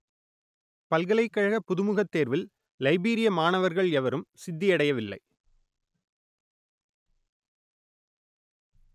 பல்கலைக்கழக புகுமுகத் தேர்வில் லைபீரிய மாணவர்கள் எவரும் சித்தியடையவில்லை